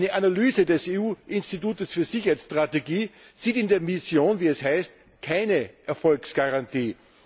Eine Analyse des EU Instituts für Sicherheitsstrategie sieht in der Mission wie es heißt keine Erfolgsgarantie.